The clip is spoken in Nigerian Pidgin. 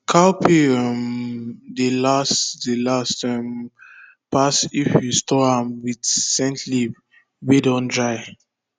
cowpea um dey last dey last um pass if you store am with scent leaf wey dun dry